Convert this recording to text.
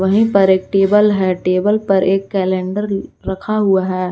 वही पर एक टेबल है टेबल पर एक कैलेंडर रखा हुआ है।